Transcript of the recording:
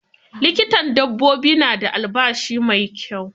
Likitan dabbobi na da albashi mai kyau.